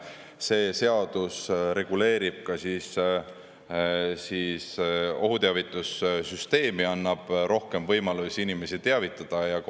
See seadus reguleerib ka ohuteavitussüsteemi, andes rohkem võimalusi inimesi teavitada.